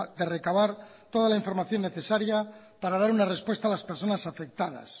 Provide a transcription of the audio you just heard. de recabar toda la información necesaria para dar una respuesta a las personas afectadas